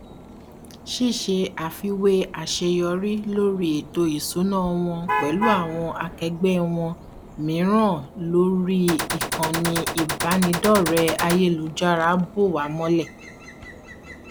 ṣíṣe àfiwé àṣeyọrí lórí ètò ìṣúná wọn pẹlú àwọn akẹgbẹ wọn mìíràn lórí ìkànnì ìbánidọrẹẹ ayélujára bò wá mọlẹ